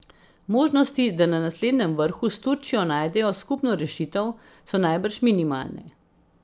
Možnosti, da na naslednjem vrhu s Turčijo najdejo skupno rešitev, so najbrž minimalne.